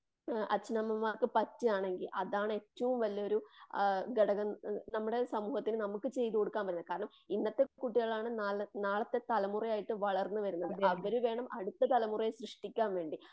അച്ഛനമ്മാർക്ക് പറ്റുവാണെങ്കിൽ അതാണ് ഏറ്റവും വല്യൊരു ഘടകം. നമ്മുടെ സമൂഹത്തിന് നമുക്ക് ചെയ്ത് കൊടുക്കാൻ പറ്റുന്നത്. കാരണം ഇന്നത്തെ കുട്ടികൾ ആണ് നാളെ നാളത്തെ തലമുറയായിട്ട് വളർന്ന്‌ വരുന്നത്. അവര് വേണം അടുത്ത തലമുറയെ സൃഷ്ടിക്കാൻ വേണ്ടി.